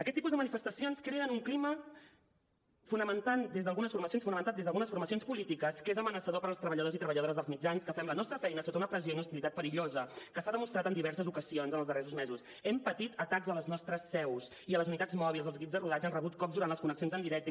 aquest tipus de manifestacions creen un clima fomentat des d’algunes formacions polítiques que és amenaçador per als treballadors i treballadores dels mitjans que fem la nostra feina sota una pressió i una hostilitat perillosa que s’ha demostrat en diverses ocasions en els darrers mesos hem patit atacs a les nostres seus i a les unitats mòbils els equips de rodatge han rebut cops durant les connexions en directe